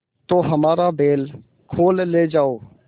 तो हमारा बैल खोल ले जाओ